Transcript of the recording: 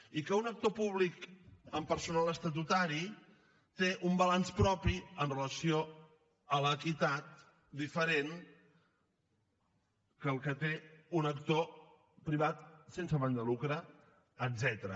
i que un actor públic amb personal estatutari té un balanç propi amb relació a l’equitat diferent que el que té un actor privat sense afany de lucre etcètera